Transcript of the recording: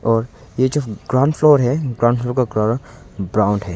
और ये जो ग्राउंड फ्लोर है ग्राउंड फ्लोर का कलर ब्राउन है।